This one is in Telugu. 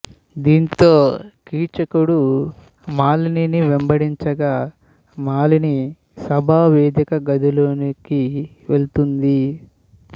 దాంతో కీచకుడు మాలినిని వెంబడించగా మాలిని సభా వేదిక గదిలోకి వెళ్తుంది